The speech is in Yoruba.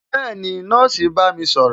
Bẹẹni, nọ́ọ̀sì ń bá mi sọ̀rọ̀